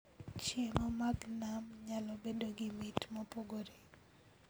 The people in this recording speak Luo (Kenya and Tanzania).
Chiemo mag nam nyalo bedo gi mit mopogore